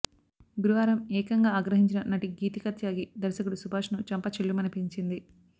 గురువారం ఏకంగా ఆగ్రహించిన నటి గీతిక త్యాగి దర్శకుడు సుభాష్ను చెంప చెల్లుమనిపించింది